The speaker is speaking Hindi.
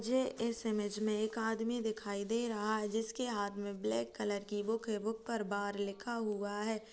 ये इस इमेज में एक आदमी दिखाई दे रहा है जिसके हाथ में ब्लैक कलर की बुक है बुक पर बार लिखा हुआ है। ‌